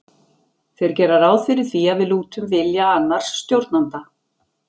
þeir gera ráð fyrir því að við lútum vilja annars stjórnanda